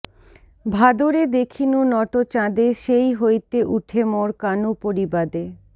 ভাদরে দেখিনু নটচাঁদে সেই হৈতে উঠে মোর কানু পরিবাদে